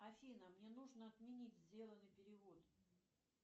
афина мне нужно отменить сделанный перевод